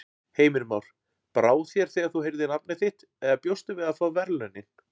Heimir Már: Brá þér þegar þú heyrðir nafnið þitt eða bjóstu við að fá verðlaunin?